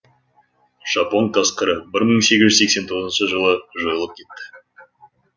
жапон қасқыры бір мың сегіз жүз сексен тоғызыншы жылы жойылып кетті